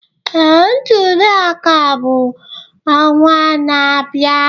Ee, ntuli aka bụ ọnwa na-abịa